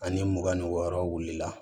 Ani mugan ni wɔɔrɔ wulila